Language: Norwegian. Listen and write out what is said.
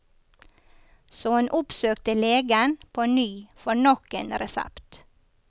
Så hun oppsøkte legen på ny for nok en resept.